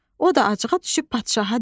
O da acığa düşüb padşaha dedi: